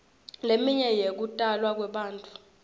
leminye yekutalwa kwebantfu